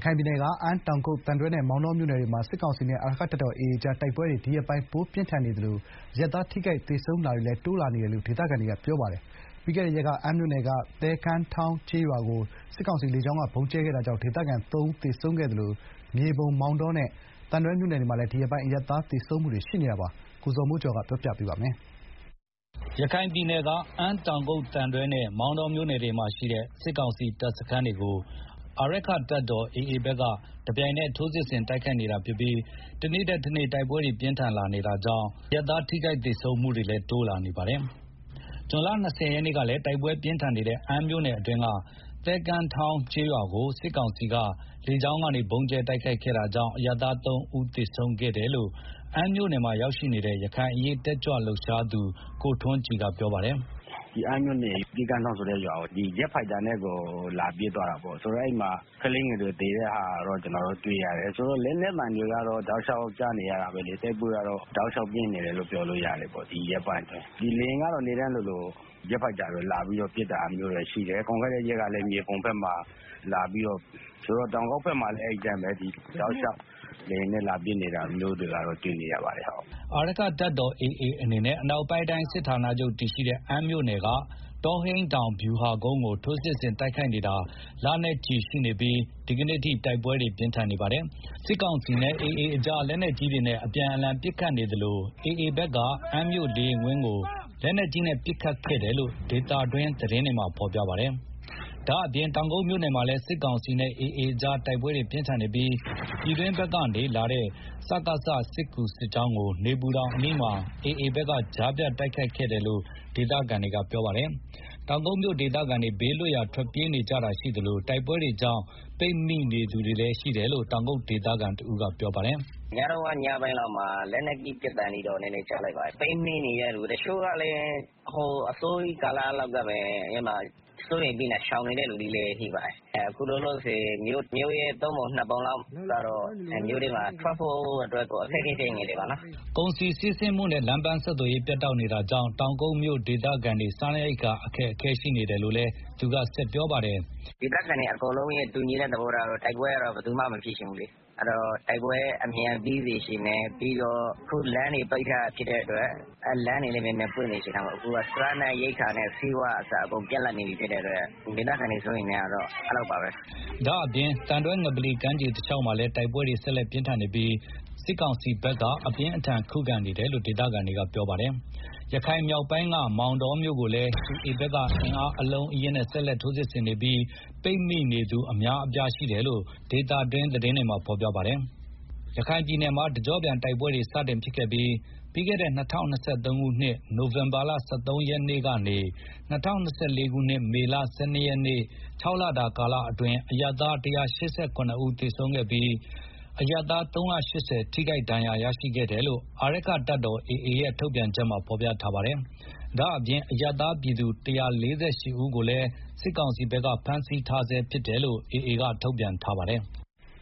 ခိုင်ပြည်နယ် အမ်း တောင်ကုတ် သံတွဲနဲ့ မောင်တောမြို့နယ်တွေမှာ စစ်ကောင်စီနဲ့ အာရက္ခတပ်တော် AA ကြား တိုက်ပွဲတွေ ဒီရက်ပိုင်း ပိုပြင်းထန်နေသလို အရပ်သားထိခိုက် သေဆုံးတာတွေလည်း တိုးလာနေတာပါ။ ပြီးခဲ့တဲ့ရက်က အမ်းမြို့နယ်က သဲကမ်းထောင်း ကျေးရွာကို စစ်ကောင်စီက လေကြောင်းကနေ ဗုံးကြဲခဲ့တာကြောင့် ဒေသခံ ၃ ဦး သေဆုံးခဲ့တာပါ။ ဒါ့အပြင်မြေပုံ မောင်တောနဲ့ သံတွဲမြို့နယ်မှာလည်း ဒီရက်ပိုင်း အရပ်သားသေဆုံးတာတွေ ရှိနေပါတယ်။ ရန်ကုန်က ပေးပို့ထားတဲ့ သတင်းကို ဇော်မိုးကျော်က ပြောပြပါမယ်။ ရခိုင်ပြည်နယ်က အမ်း တောင်ကုတ် သံတွဲနဲ့ မောင်တောမြို့နယ်တွေမှာရှိတဲ့ စစ်ကောင်စီ တပ်စခန်းတွေကို အာရက္ခတပ်တော် AA ဘက်က တပြိုင်နက် ထိုးစစ်ဆင် တိုက်ခိုက်နေတာဖြစ်ပြီး တနေ့ထက်တနေ့ တိုက်ပွဲတွေ ပိုပြင်းထန်လာ နေတာပါ။ အခုလို တိုက်ပွဲတွေ ပြင်းထန်လာတာနဲ့အမျှ အရပ်သား ထိခိုက်သေဆုံးတာတွေလည်း တိုး လာနေပါတယ်။ ဇွန် ၂၀ ရက်နေ့ကလည်း တိုက်ပွဲ ပြင်းထန်နေတဲ့ အမ်းမြို့နယ်အတွင်းက သဲကမ်းထောင်း ကျေးရွာကို စစ်ကောင်စီတပ်က လေကြောင်းက ဗုံးကြဲခဲ့တာကြောင့် အရပ်သား ၃ ဦးသေဆုံးခဲ့တယ်လို့ အမ်းမြို့နယ်မှာနေတဲ့ ရခိုင်အရေးတက်ကြွလှုပ်ရှားသူ ကိုထွန်းကြည်က ပြောပါတယ်။ “ မနေ့ကတော့ အမ်းမြို့နယ်က သဲကမ်းထောင်းဆိုတဲ့ ရွာကို လေယာဉ်နဲ့ လာပစ်တာ ရှိတယ်။ ဂျက်ဖိုက်တာနဲ့ကို လာပစ်တာဆိုတော့ အဲဒီမှာ ကလေးငယ်တွေ သေတာ ကျနော်တို့တွေ့ရတယ် ဆိုတော့ လက်နက်သံတွေက တောက်လျောက်ကြားနေရတယ် တိုက်ပွဲက အတော် ပြင်းထန်နေတယ်လို့ ပြောလို့ရတယ်။ ဒီရက်ပိုင်းအတွင်းဆိုတော့ လေယာဉ်ကလည်း နေ့တိုင်းလိုလို ဂျက်ဖိုက်တာတွေ လာပြီးတော့ ပစ်တာရှိတယ်။ ပြီးခဲ့တဲ့ ရက်ကလည်း မြေပုံမှာ လာပစ်တာရှိတယ် မနေ့ကလည်း အမ်းမှာ လာပစ်တယ်။တောင်ကုတ်ဘက်မှာလည်း အဲဒီအတိုင်းပဲ တောက်လျောက် လေယာဉ်နဲ့ လာပစ်တာတွေ့နေရတယ်။” အာရက္ခတပ်တော် AA အနေနဲ့ အနောက်ပိုင်းတိုင်း စစ်ဌာနာချုပ်တည်ရှိတဲ့ အမ်းမြို့နယ်က တောဟိန်းတောင်ဗျူဟာကုန်းကို ထိုးစစ်ဆင် တိုက်ခိုက်နေတာ လနဲ့ချီ ရှိနေပြီး ဒီကနေ့အထိ တိုက်ပွဲတွေ ပြင်းထန်နေပါတယ်။ စစ်ကောင်စီနဲ့ AA ကြား လက်နက်ကြီးတွေနဲ့ အပြန်အလှန် ပစ်ခတ်နေကြသလို AA ဘက်က အမ်းမြို့လေယာဉ်ကွင်းကို လက်နက်ကြီးနဲ့ ပစ်ခတ်ခဲ့တယ်လို့ ဒေသတွင်းသတင်းဌာနတွေမှာ ဖော်ပြထားကြပါတယ်။ ဒါ့ပြင် တောင်ကုတ်မြို့နယ်မှာလည်း စစ်ကောင်စီနဲ့ AA ကြား တိုက်ပွဲတွေ ပြင်းထန်နေပြီး ပြည်တွင်းဘက်ကနေ စစ်ကူလာတဲ့ စစ်ကောင်စီစစ်ကြောင်းကို နေပူတောင်အနီးမှာ AA ဘက်က ကြားဖြတ် တိုက်ခိုက်ခဲ့တယ်လို့ ဒေသခံတွေ ကပြောပါတယ်။ တောက်ကုတ်မြို ဒေသခံတွေ ဘေးလွတ်ရာကို ထွက်ပြေးကြတာရှိသလို တိုက်ပွဲတွေကြောင့် ပိတ်မိနေသူတွေလည်း ရှိနေတယ်လို့ တောင်ကုတ်ဒေသခံတဦးက ပြောပါတယ်။ “ ပစ်သံခတ်သံကတော့ ညပိုင်းလောက်မှာ လက်နက်ကြီး ပစ်သံတွေတော့ နည်းနည်းကြား လိုက်တယ်။ ပိတ်မိနေတဲ့ သူတချို့ကလည်း အစောကြီး ကာလကတည်းက စိုးရိမ်ပြီးတော့ ရှောင်နေတဲ့သူတွေလည်း ရှိပါတယ်။ အခုလောလောဆယ် မြို့တဝက် မြို့ရဲ့သုံးပုံနှစ်ပုံလောက် မြို့ထဲမှာ ထွက်ဖို့ အခက်အခဲဖြစ်နေကြတယ်။” ကုန်စည်စီးဆင်းမှုနဲ့ လမ်းပန်းဆက်သွယ်ရေး ပြတ်တောက်နေတာကြောင့် တောင်ကုတ်မြိုဒေသခံတွေ စားနပ်ရိက္ခာတွေလည်း ခက်ခဲနေတယ်လို့လည်း သူက ဆက်ပြောပါတယ်။ “ ဒေသခံတွေရဲ့ တူညီတဲ့ သဘောထားကတော့ တိုက်ပွဲ အမြန်ပြီးစေချင်တယ်၊ ပြီးတော့ အခု လမ်းတွေပိတ်ထားတာဖြစ်တဲ့အတွက် လမ်းတွေလည်း မြန်မြန် ဖွင့်စေချင်တယ်၊ စားနပ်ရိက္ခာနဲ့ ဆေးဝါးကအစ အကုန်ပြတ်လပ်နေတဲ့ အတွက် ဒေသခံတွေ စိုးရိမ်နေကြတယ်။” ဒါ့အပြင် သံတွဲငပလီ ကမ်းခြေတလျောက်မှာလည်း တိုက်ပွဲတွေဆက် လက်ပြင်းထန်နေပြီး စစ်ကောင်စီဘက်က အပြင်းအထန်ခုခံ တိုက်ခိုက်နေတယ်လို့ ဒေသခံတွေက ပြောဆိုကြပါတယ်။ ရခိုင်မြောက်ပိုင်းက မောင်တောမြို့ကို AA ဘက်က အင်အား အလုံးအရင်းနဲ့ ဆက်လက် ထိုးစစ်ဆင်နေပြီး ပိတ်မိနေသူ အများအပြားရှိတယ်လို့ ဒေသတွင်း သတင်းတွေမှာ ဖော်ပြပါတယ်။ ရခိုင်ပြည်နယ်မှာ တကြော့ပြန်တိုက်ပွဲတွေ စတင်ခဲ့တဲ့ ပြီးခဲ့တဲ့ ၂၀၂၃ ခုနှစ် နိုင်ဝင်ဘာလ ၁၃ ရက်နေ့ကနေ ၂၀၂၄ ခုနှစ် မေလ ၁၂ ရက်နေ့ ၆ လတာ ကာလအတွင်း အရပ်သား ၁၈၇ ဦးသေဆုံးခဲ့ရသလို အရပ်သား ၃၈၀ ထိခိုက်ဒဏ်ရာရရှိခဲ့တယ်လို့ အာရက္ခတပ်တော် AA ရဲ့ ထုတ်ပြန်ချက်မှာ ဖော်ပြထားပါတယ်။ ဒါ့အပြင် အရပ်သားပြည်သူ ၁၄၈ ဦးကိုလည်း စစ်ကောင်စီက ဖမ်းဆီးထားဆဲဖြစ်တယ်လို့ AA ဘက်က ထုတ်ပြန်ထားပါတယ်။